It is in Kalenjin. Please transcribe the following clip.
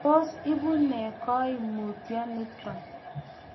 Tos ibu nee koimutioniton?